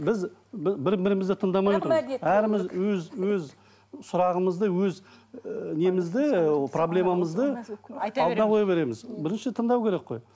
біз бір бірімізді тыңдамай отырмыз өз өз сұрағымызды өз і немізді проблемамызды алдына қоя береміз бірінші тыңдау керек қой